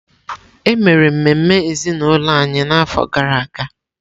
E mere ememe ezinụlọ anyị n’afọ gara aga.